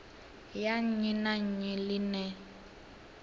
ya nnyi na nnyi ḽine